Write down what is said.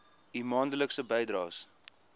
u maandelikse bydraes